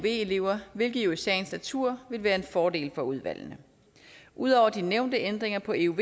elever hvilket jo i sagens natur vil være en fordel for udvalgene ud over de nævnte ændringer på euv